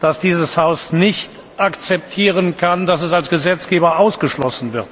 dass dieses Haus nicht akzeptieren kann, dass es als Gesetzgeber ausgeschlossen wird.